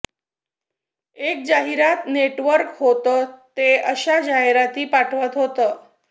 एक जाहिरात नेटवर्क होतं ते अशा जाहिराती पाठवत होतं